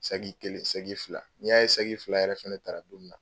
Sagi kelen, sɛgi fila. N'i y'a ye sɛgi fila yɛrɛ fɛnɛ tara don min na